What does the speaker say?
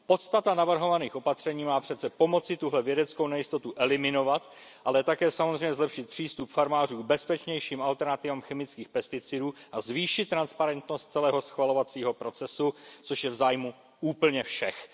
Podstata navrhovaných opatření má přece pomoci tuhle vědeckou nejistotu eliminovat, ale také samozřejmě zlepšit přístup farmářů k bezpečnějším alternativám chemických pesticidů a zvýšit transparentnost celého schvalovacího systému, což je v zájmu úplně všech.